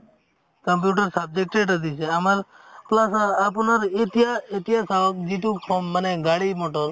computer subject টো এটা দিছে আমাৰ class ৰ আপোনাৰ এতিয়া এতিয়া চাৱক যিটো কম মানে গাডী motor